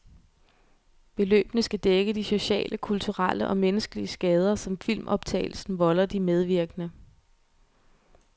Beløbene skal dække de sociale, kulturelle og menneskelige skader, som filmoptagelsen volder de medvirkende.